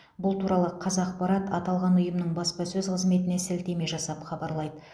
бұл туралы қазақпарат аталған ұйымның баспасөз қызметіне сілтеме жасап хабарлайды